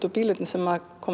og bílarnir sem